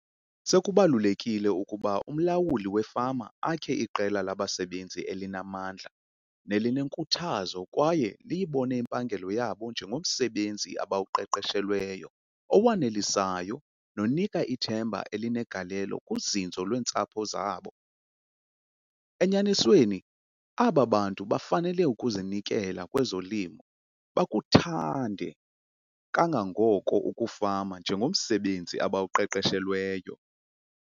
Sekubalulekile ukuba umlawuli wefama akhe iqela labasebenzi elinamandla nelinenkuthazo kwaye liyibone impangelo yabo njengomsebenzi abawuqeqeshelweyo owanelisayo nonika ithemba elinegalelo kuzinzo lweentsapho zabo. Enyanisweni aba bantu bafanele ukuzinikela kwezolimo bakuthande kangangoko ukufama njengomsebenzi abawuqeqeshelweyo.